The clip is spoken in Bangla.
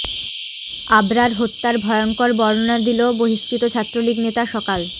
আবরার হত্যার ভয়ঙ্কর বর্ণনা দিল বহিষ্কৃত ছাত্রলীগ নেতা সকাল